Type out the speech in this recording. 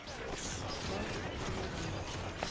namkha ilunga lomkhandlu